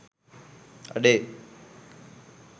අඩේ